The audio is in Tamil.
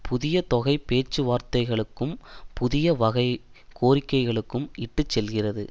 புதிய தொகைப் பேச்சு வார்த்தைகளுக்கும் புதிய வகை கோரிக்கைகளுக்கும் இட்டு செல்கிறது